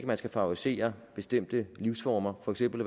man skal favorisere bestemte livsformer for eksempel